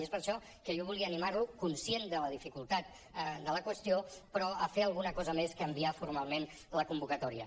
i és per això que jo volia animar lo conscient de la dificultat de la qüestió però a fer alguna cosa més que enviar formalment la convocatòria